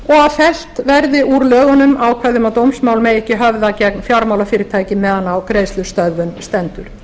að fellt verði úr lögunum ákvæði um að dómsmál megi ekki höfða gegn fjármálafyrirtæki meðan á greiðslustöðvun stendur